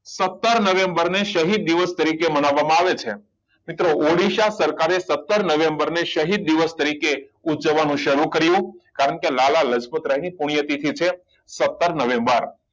સત્તર નવેમ્બર ને શહીદ દિવસ તરીકે માનવામાં આવે છે મિત્રો ઓડિસા સરકારે સત્તર નવેમ્બરે શહીદ દિવસ તરીકે ઉજવવાનું સારું કર્યું કારણ કે લાલા લજપત રાય ની પુણ્ય તિથિ છે સત્તર નવેમ્બર